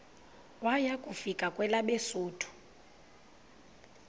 waya kufika kwelabesuthu